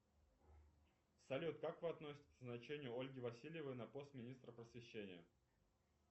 салют как вы относитесь к назначению ольги васильевой на пост министра просвещения